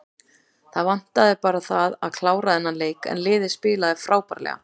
Það vantaði bara það að klára þennan leik en liðið spilaði frábærlega.